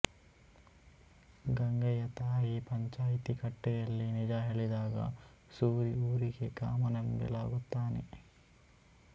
ಗಂಗೆಯ ತಾಯಿ ಪಂಚಾಯಿತಿ ಕಟ್ಟೆಯಲ್ಲಿ ನಿಜ ಹೇಳಿದಾಗ ಸೂರಿ ಊರಿಗೆ ಕಾಮನಬಿಲ್ಲಾಗುತ್ತಾನೆ